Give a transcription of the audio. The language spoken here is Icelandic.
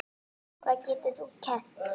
Hvað getur þú kennt?